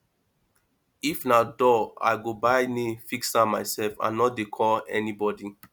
if na door i go buy nail fix am mysef i no dey call anybodi